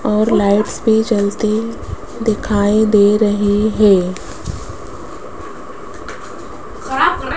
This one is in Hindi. और लाइट्स भी जलती दिखाई दे रही है।